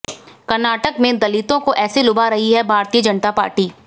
कर्नाटक में दलितों को ऐसे लुभा रही है भारतीय जनता पार्टी